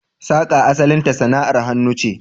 Saka asalinta sana'ar hannu ce.